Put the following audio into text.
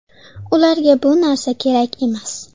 Ularga bu narsa kerak emas.